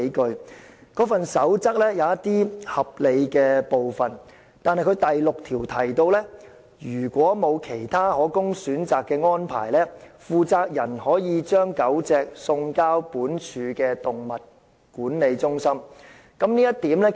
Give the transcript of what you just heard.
"建築地盤飼養狗隻守則"有合理的部分，但第6點提到："如沒有其他可供選擇的安排，負責人可把狗隻送交本署動物管理中心。